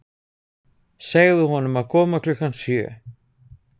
Segðu honum að koma klukkan sjö.